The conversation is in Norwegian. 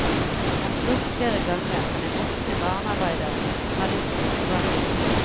Han spurte flere ganger, men den voksne barnearbeideren hadde ikke noe svar å gi.